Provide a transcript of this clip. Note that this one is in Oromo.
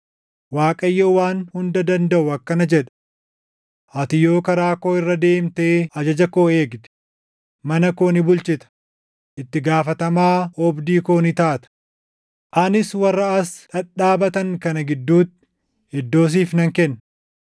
“ Waaqayyo Waan Hunda Dandaʼu akkana jedha; ‘Ati yoo karaa koo irra deemtee ajaja koo eegde, mana koo ni bulchita; itti gaafatamaa oobdii koo ni taata; anis warra as dhadhaabatan kana gidduutti iddoo siif nan kenna.